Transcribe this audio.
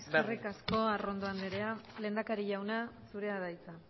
berri eskerrik asko arrondo andrea lehendakari jauna zurea da hitza